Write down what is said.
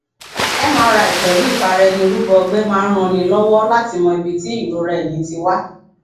mri pẹlú ìfaraẹnirúbọ ọgbẹ máa ń ranni lọwọ láti mọ ibi tí ìrora ẹyìn ti wá